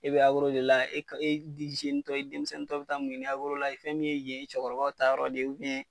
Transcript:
E bɛ de la ezinitɔ denmisɛn dɔ bɛ taa mun ye la ye fɛn min ye yen cɛkɔrɔbaw ta yɔrɔ de ye